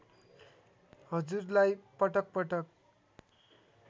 हजुरलाई पटक पटक